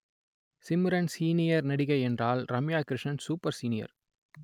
Simran senior நடிகை என்றால் Ramya Krishnan super senior